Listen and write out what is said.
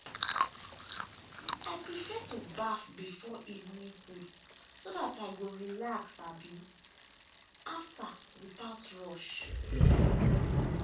i prefer to baff before evening food so that i go relax um after without rush.